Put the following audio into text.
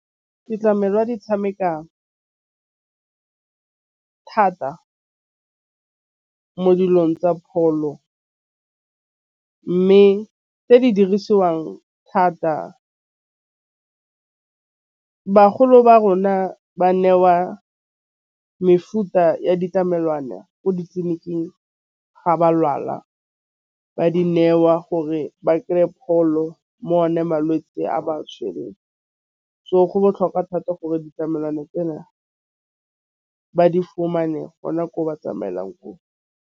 Ditlamelwa di tšhamekang thata mo dilong tsa pholo, mme tse di dirisiwang thata. Bagolo ba rona ba nne wa mefuta ya ditlamelwana ko ditleliniking ga ba lwala. Ba di newa gore ba kry-e pholo mo one malwetse a ba tšhwereng. So, go botlhokwa thata gore ditlamelwana ba di fumane gona gore ba tsamaelang ko.